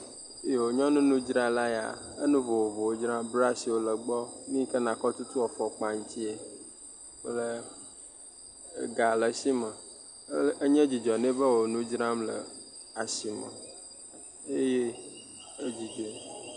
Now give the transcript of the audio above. Yoo. Nyɔnunudzrala yaa, enu vovovowo dzram, brashiwo le gbɔ, nu yi ke nakɔ tutu afɔkpa ŋtsie kple ega le eshi me ɛɛ enye dzidzɔ nɛ be wò nudzram le ashie eye edzidzɔe